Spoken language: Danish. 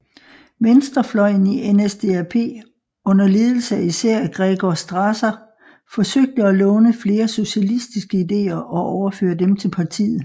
Venstrefløjen i NSDAP under ledelse af især Gregor Strasser forsøgte at låne flere socialistiske ideer og overføre dem til partiet